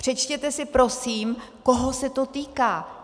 Přečtěte si prosím, koho se to týká!